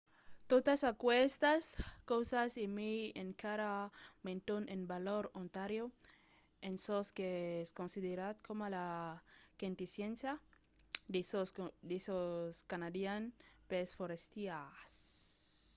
totas aquestas causas e mai encara meton en valor ontario en çò qu’es considerat coma la quintesséncia de çò canadian pels forastièrs